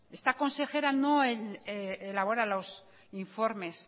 esta consejera no elabora los informes